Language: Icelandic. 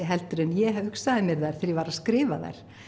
en ég hugsaði mér þær þegar ég var að skrifa þær